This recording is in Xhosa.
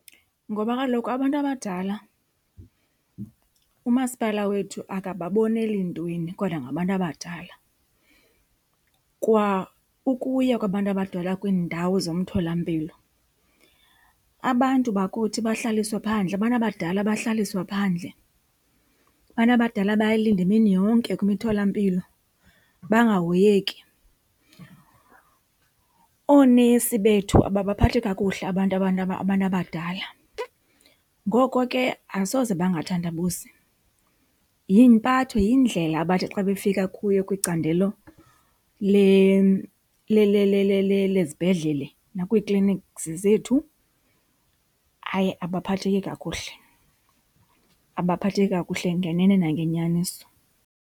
Ngoba kaloku abantu abadala umasipala wethu akababoneli ntweni kodwa ngabantu abadala. Kwa ukuya kwabantu abadala kwiindawo zomtholampilo abantu bakuthi bahlaliswe phandle, abantu abadala bahlaliswa phandle, abantu abadala bayalinda imini yonke kwimitholampilo bangahoyeki. Oonesi bethu ababaphathi kakuhle abantu abantu , abantu abadala ngoko ke asoze bangathandabuzi. Yimpatho, yindlela abathi xa befika kuyo kwicandelo lezibhedlele nakwii-clinics zethu. Hayi, abaphatheki kakuhle, abaphatheki kakuhle ngenene nangenyaniso.